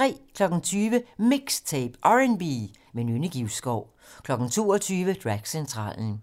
20:00: MIXTAPE - R&B med Nynne Givskov 22:00: Dragcentralen